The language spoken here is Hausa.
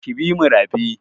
Ki bi mu rafi!